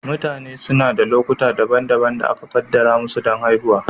Mutane suna da lokuta daban-daban da aka kaddara musu don haihuwa.